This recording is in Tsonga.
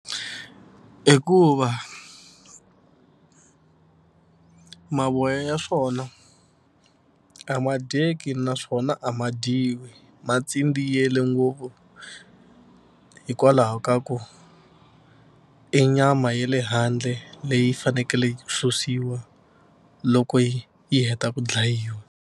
Hikuva mavoya ya swona a ma dyeki naswona a ma dyiwi ma tsindziyele ngopfu hikwalaho ka ku i nyama ya le handle leyi fanekele susiwa loko yi yi heta ku dlayiwa.